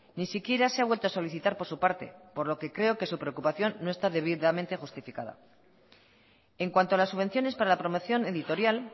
ni siquiera se ha vuelto a solicitar por su parte por lo que creo que su preocupación no está debidamente justificada en cuanto a las subvenciones para la promoción editorial